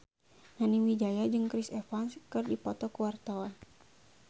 Nani Wijaya jeung Chris Evans keur dipoto ku wartawan